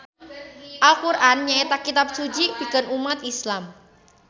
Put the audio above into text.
Al Qur'an nyaeta kitab suci pikeun ummat Islam.